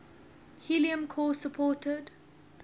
helium core supported